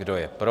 Kdo je pro?